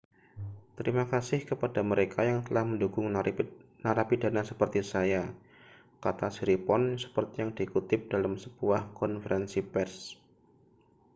terima kasih kepada mereka yang telah mendukung narapidana seperti saya kata siriporn seperti yang dikutip dalam sebuah konferensi pers